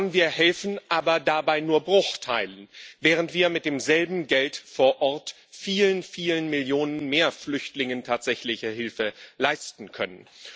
Wir helfen aber dabei nur Bruchteilen, während wir mit demselben Geld vor Ort vielen, vielen Millionen mehr Flüchtlingen tatsächliche Hilfe leisten können.